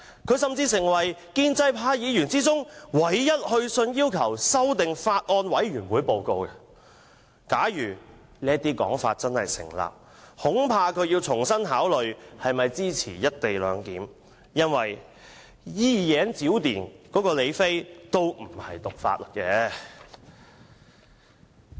他甚至是建制派中唯一議員去信要求修訂法案委員會報告。假如這種說法真的成立，我恐怕他要重新考慮是否支持"一地兩檢"，因為"一言九鼎"的李飛也不是讀法律的。